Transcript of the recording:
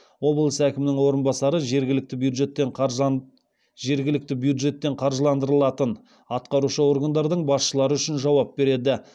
облыс әкімінің орынбасары жергілікті бюджеттен қаржыландырылатын атқарушы органдардың басшылары үшін жауап береді